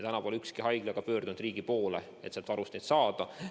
Seni pole ükski haigla pöördunud riigi poole, et sealt varust neid saada.